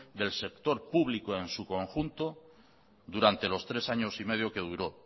del sector público en su conjunto durante los tres años y medio que duró